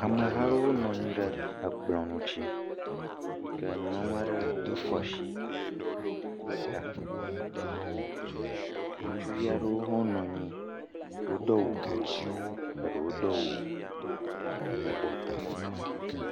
Ameha aɖewo nɔ anyi ɖe ekplɔ ŋuti yi ke nyɔnua aɖe kɔ asi ɖo ta, ŋutsuvi aɖewo hã wonɔ anyi. Wodo awu blu ɖewo do awu yibɔ